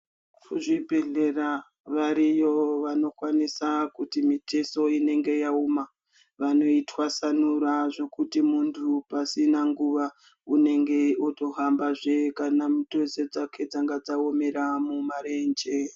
Kuzvibhedhleya variyo vanokwanisa kuti mitezo inenge yaoma vanoitwasanura zvekuti mundu pasina nguva unenge wotohamba zvee kana mipezo dzake dzanga dzaomera mumarenje.